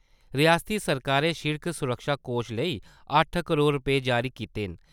रिआसती सरकारै सिड़क सुरक्षा कोश लेई अट्ठ करोड़ रपेऽ जारी कीते न ।